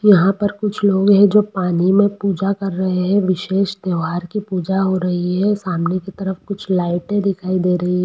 यहाँ पर कुछ लोग है जो पानी में पूजा कर रहे है विशेष त्योहार की पूजा हो रही है सामने कि तरफ कूछ लाइटे दिखाई दे रही है।